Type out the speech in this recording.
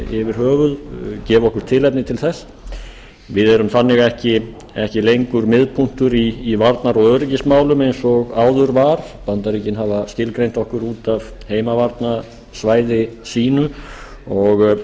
yfir höfuð gefa okkur tilefni til þess við erum þannig ekki lengur miðpunktur í varnar og öryggismálum eins og áður var bandaríkin hafa skilgreint okkur út af heimavarnarsvæði sínu og